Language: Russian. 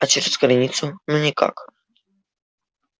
а через границу ну никак